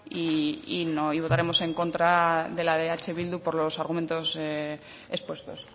y votaremos en contra de la de eh bildu por los argumentos expuestos